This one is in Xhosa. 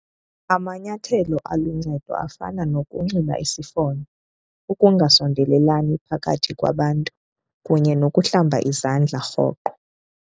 Amanyathelo aluncedo afana nokunxiba isifonyo, ukungasondelelani phakathi kwabantu kunye nokuhlamba izandla rhoqo.